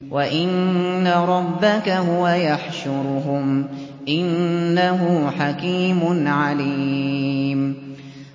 وَإِنَّ رَبَّكَ هُوَ يَحْشُرُهُمْ ۚ إِنَّهُ حَكِيمٌ عَلِيمٌ